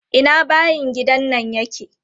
Ina bayin gidan nan yake?